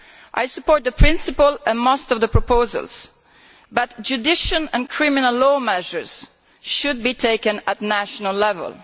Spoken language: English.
I support the principle and most of the proposals, but judicial and criminal law measures should be taken at national level.